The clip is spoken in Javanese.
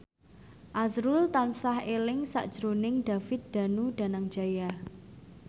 azrul tansah eling sakjroning David Danu Danangjaya